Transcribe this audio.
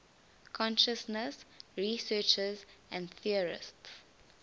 consciousness researchers and theorists